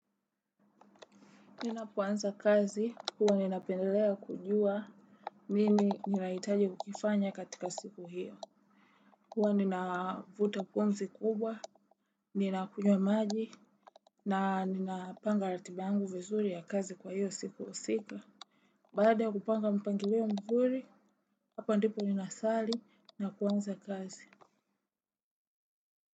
Ninapoanza kazi, huwa ninapendelea kujua. Nini ninahitaji kukifanya katika siku hiyo. Huwa ninavuta pumzi kubwa. Ninakunywa maji. Na ninapanga ratiba yangu vizuri ya kazi kwa hiyo siku usiku. Baada ya kupanga mpangilio mzuri. Hapa ndipo ninasali na kuanza kazi.